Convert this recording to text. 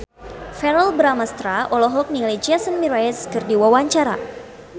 Verrell Bramastra olohok ningali Jason Mraz keur diwawancara